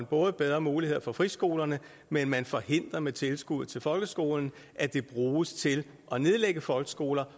både bedre muligheder for friskolerne men man forhindrer med tilskuddet til folkeskolen at det bruges til at nedlægge folkeskoler